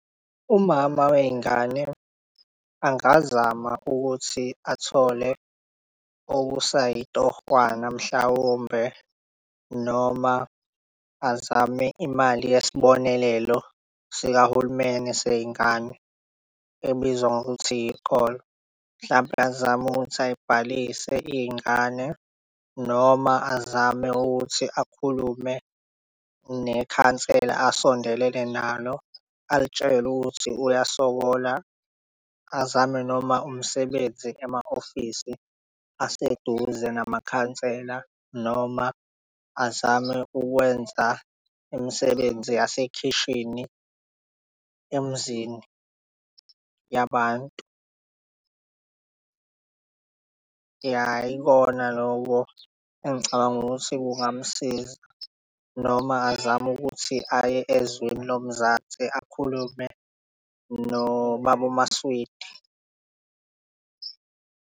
Umama wey'ngane angazama ukuthi athole okusayitohwana mhlawumbe noma azame imali yesibonelelo sikahulumeni sey'ngane ebizwa ngokuthi iy'kole mhlampe azame ukuthi ay'bhalise iy'ngane noma azame ukuthi akhulume nekhansela asondelene nalo alitshele ukuthi uyasokola azame noma umsebenzi ema-office aseduze namakhansela noma azame ukwenza imisebenzi yasekhishini emizini yabantu. Ya, yikona loko engicabanga ukuthi kungamsiza noma azame ukuthi aye ezweni lomzansi akhulume noBaba Maswidi.